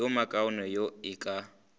yo mokaone yo e ka